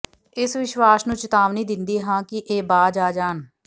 ਏਸ ਵਿਸਵਾਸ਼ ਨੁੰ ਚੇਤਾਵਨੀ ਦਿੰਦੇ ਹਾ ਕਿ ਇਹ ਬਾਜ ਆ ਜਾਣ